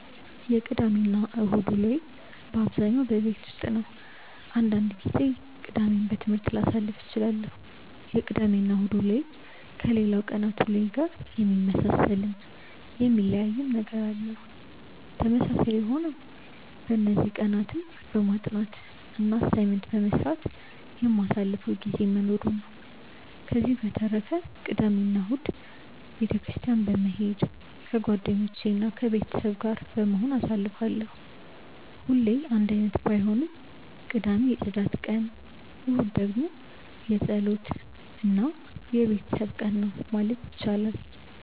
የቅዳሜ እና እሁድ ውሎዬ በአብዛኛው ቤት ውስጥ ነው። አንዳንድ ጊዜ ቅዳሜን በትምህርት ላሳልፍ እችላለሁ። የቅዳሜ እና እሁድ ውሎዬ ከሌላው ቀናት ውሎዬ ጋር የሚመሳሰልም የሚለያይም ነገር አለው። ተመሳሳይ የሆነው በእነዚህ ቀናትም በማጥናት እና አሳይመንት በመስራት የማሳልፈው ጊዜ መኖሩ ነው። ከዚህ በተረፈ ቅዳሜ እና እሁድን ቤተ ክርስትያን በመሄድ ከጓደኞቼ እና ከቤተሰብ ጋር በመሆን አሳልፋለሁ። ሁሌ አንድ አይነት ባይሆንም ቅዳሜ የፅዳት ቀን እሁድ ደግሞ የፀሎት እና የቤተሰብ ቀን ነው ማለት ይቻላል።